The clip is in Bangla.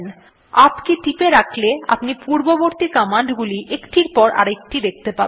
ইউপি কে টিপে রাখলে আপনি পূর্ববর্তী কমান্ড গুলি একটির পর আরেকটি দেখতে পাবেন